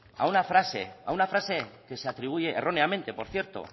a una frase a una frase que se atribuye erróneamente por cierto